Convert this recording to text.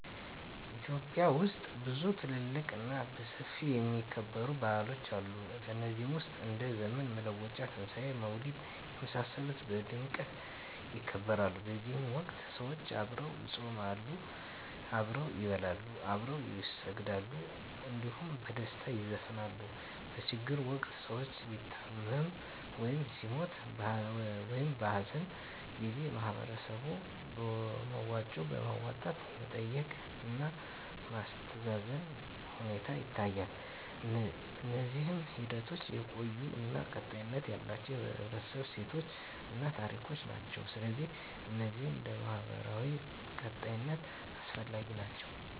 ኢትዮጵያ ውስጥ ብዙ ትልልቅ እና በሰፊው የሚከበሩ ባህሎች አሉ ከነዚህ ውስጥ እንደ ዘመን መለወጫ; ትንሣኤ; መውሊድ የመሳሰሉት በድምቀት ይከበራሉ በዚህ ወቅት ሰዎች አብረው ይጾማሉ፣ አብረው ይበላሉ፣ አብረው ይሰግዳሉ እንዲሁም በደስታ ይዘፍናሉ። በችግር ወቅት ሰዉ ሲታመም ወይም ሲሞት(በሀዘን) ጊዜ በህበረተሰቡ በመዋጮ በማዋጣት መጠየቅ እና ማስተዛዘን ሁኔታ ይታያል። እነዚህ ሂደቶች የቆዩ እና ቀጣይነት ያላቸው የህብረተሰቡ እሴቶችን እና ታሪኮችን ናቸው። ስለዚህ እነዚህ ለማህበራዊ ቀጣይነት አስፈላጊ ናቸው